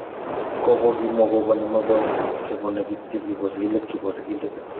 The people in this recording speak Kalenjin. Kobo kimwa kobo ne mebok chebo ne kityo kibo sigilet kibo sigilet.